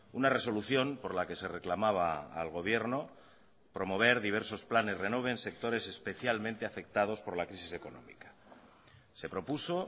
una resolución por la que se reclamaba al gobierno promover diversos planes renove en sectores especialmente afectados por la crisis económica se propuso